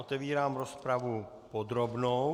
Otevírám rozpravu podrobnou.